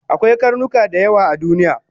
Akwai karnuka dayawa a duniya